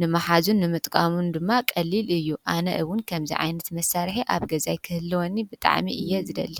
ንምሓዝን ንምጥቃምን ድማ ቀሊል እዩ:: ኣነ እውን ከምዚ ዓይነት መሳርሒ ኣብ ገዛይ ክህልወኒ ብጣዕሚ እየ ዝደሊ::